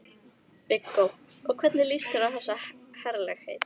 Viggó: Og hvernig líst þér á þessi herlegheit?